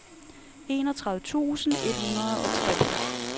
enogtredive tusind et hundrede og tre